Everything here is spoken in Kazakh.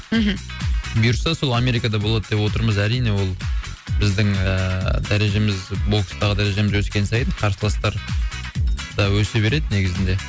мхм бұйыртса сол америкада болады деп отырмыз әрине ол біздің ыыы дәрежеміз бокстағы дәрежеміз өскен сайын қарсыластар да өсе береді негізінде